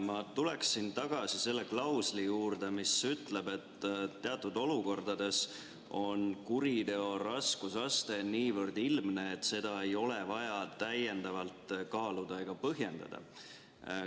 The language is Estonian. Ma tulen tagasi selle klausli juurde, mis ütleb, et teatud olukordades on kuriteo raskusaste niivõrd ilmne, et seda ei ole vaja täiendavalt kaaluda ega põhjendada.